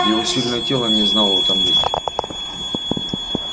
его сильное тело не знало утомления